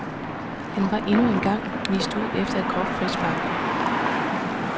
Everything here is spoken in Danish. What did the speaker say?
Han var endnu en gang vist ud efter et groft frispark.